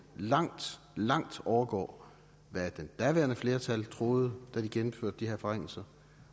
langt langt overgår hvad det daværende flertal troede da de gennemførte de her forringelser